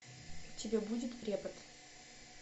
у тебя будет препод